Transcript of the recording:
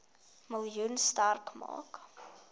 miljoen sterk maak